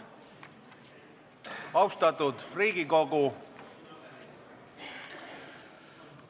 Austatud Riigikogu!